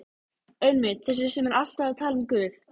Einmitt- þessi sem er alltaf að tala um Guð.